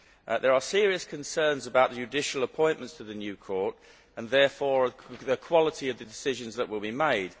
There are serious concerns about judicial appointments to the new court and therefore about the quality of the decisions that will be made.